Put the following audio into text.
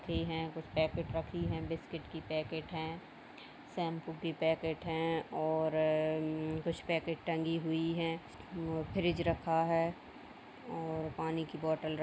हैं कुछ पैकेट रखी हैं बिस्किट की पैकेट हैं शैंपू की पैकेट हैं और म म म कुछ पैकेट टंगी हुई हैं और फ्रिज रखा है और पानी की बोटल --